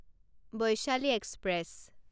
Vaishali express